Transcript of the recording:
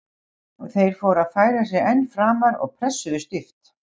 Þeir fóru að færa sig enn framar og pressuðu stíft.